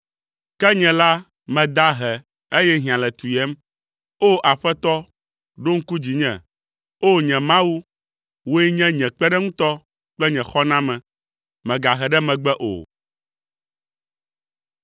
Ke nye la, meda ahe, eye hiã le tu yem, O! Aƒetɔ, ɖo ŋku dzinye. O! Nye Mawu, wòe nye nye kpeɖeŋutɔ kple nye xɔname, mègahe ɖe megbe o.